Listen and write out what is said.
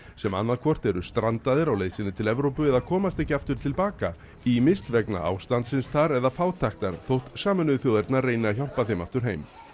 sem annaðhvort eru strandaðir á leið sinni til Evrópu eða komast ekki aftur til baka ýmist vegna ástandsins þar eða fátæktar þótt Sameinuðu þjóðirnar reyni að hjálpa þeim aftur heim